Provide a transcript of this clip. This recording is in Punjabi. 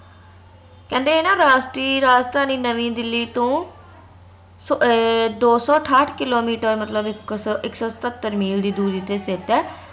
ਕਹਿੰਦੇ ਏ ਨਾ ਰਾਸ਼ਟ੍ਰੀ ਰਾਜਧਾਨੀ ਨਵੀ ਦਿੱਲੀ ਤੋਂ ਅਹ ਦੋ ਸੋ ਅਠਾਟ ਕਿੱਲੋਮੀਟਰ, ਮਤਲਬ ਇਕ ਸੋ ਸਤੱਤਰ ਮੀਲ ਦੀ ਦੂਰੀ ਤੇ ਸਥਿਤ ਹੈ